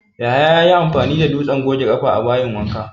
Yahaya ya yi amfani da dutsen goge ƙafa a bayin wanka